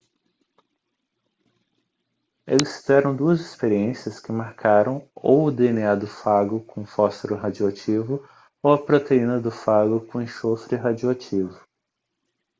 eles fizeram duas experiências que marcaram ou o dna do fago com fósforo radioativo ou a proteína do fago com enxofre radioativo